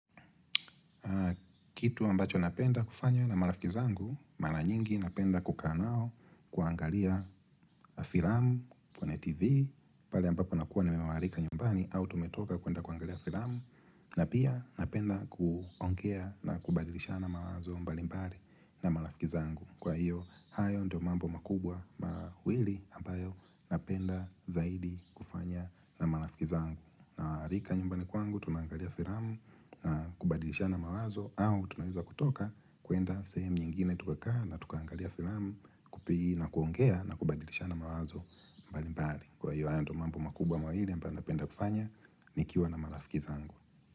Kitu ambacho napenda kufanya na malafiki zangu, mala nyingi napenda kukaa nao kuangalia filamu kwene tv, pale ambapo nakuwa nimewaarika nyumbani au tumetoka kuenda kuangalia filamu na pia napenda kuongea na kubadilishana mawazo mbalimbali na malafiki zangu. Kwa hiyo, hayo ndio mambo makubwa mawili ambayo napenda zaidi kufanya na marafiki zangu. Nawaarika nyumbani kwangu, tunaangalia firamu na kubadilishana mawazo, au tunaweza kutoka kuenda sehemu nyingine tukakaa na tukangalia firamu fupii na kuongea na kubadilishana mawazo mbali mbali. Kwa hiyo, hayo ndo mambo makubwa mawili ambayo napenda kufanya nikiwa na marafiki zangu.